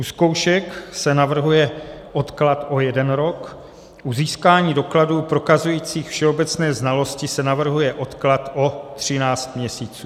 U zkoušek se navrhuje odklad o jeden rok, u získání dokladů prokazujících všeobecné znalosti se navrhuje odklad o 13 měsíců.